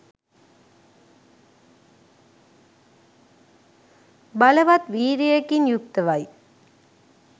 බලවත් වීර්යයකින් යුක්තව යි.